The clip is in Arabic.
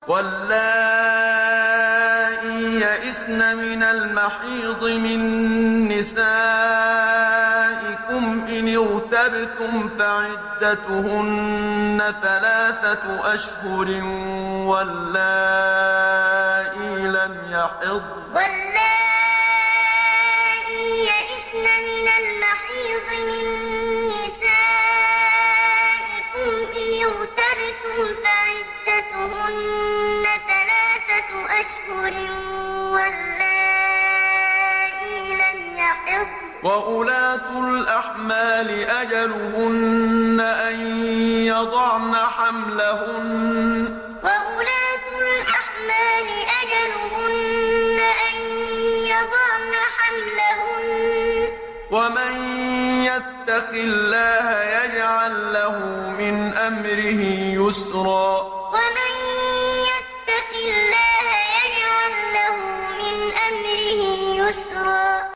وَاللَّائِي يَئِسْنَ مِنَ الْمَحِيضِ مِن نِّسَائِكُمْ إِنِ ارْتَبْتُمْ فَعِدَّتُهُنَّ ثَلَاثَةُ أَشْهُرٍ وَاللَّائِي لَمْ يَحِضْنَ ۚ وَأُولَاتُ الْأَحْمَالِ أَجَلُهُنَّ أَن يَضَعْنَ حَمْلَهُنَّ ۚ وَمَن يَتَّقِ اللَّهَ يَجْعَل لَّهُ مِنْ أَمْرِهِ يُسْرًا وَاللَّائِي يَئِسْنَ مِنَ الْمَحِيضِ مِن نِّسَائِكُمْ إِنِ ارْتَبْتُمْ فَعِدَّتُهُنَّ ثَلَاثَةُ أَشْهُرٍ وَاللَّائِي لَمْ يَحِضْنَ ۚ وَأُولَاتُ الْأَحْمَالِ أَجَلُهُنَّ أَن يَضَعْنَ حَمْلَهُنَّ ۚ وَمَن يَتَّقِ اللَّهَ يَجْعَل لَّهُ مِنْ أَمْرِهِ يُسْرًا